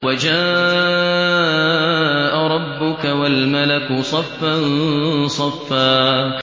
وَجَاءَ رَبُّكَ وَالْمَلَكُ صَفًّا صَفًّا